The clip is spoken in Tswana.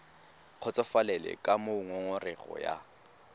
kgotsofalele ka moo ngongorego ya